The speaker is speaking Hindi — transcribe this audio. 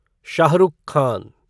शाह रुख खान